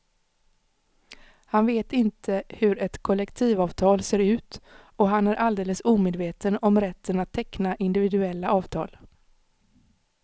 Han vet inte hur ett kollektivavtal ser ut och han är alldeles omedveten om rätten att teckna individuella avtal.